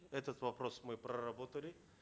этот вопрос мы проработали